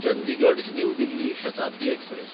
Chandigarh New Delhi Shatabdi express